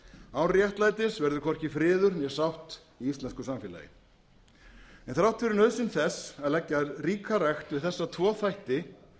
án réttlætis verður hvorki friður né sátt í íslensku samfélagi þrátt fyrir nauðsyn þess að leggja ríka rækt við þessa tvo þætti